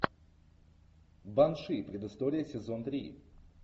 банши предыстория сезон три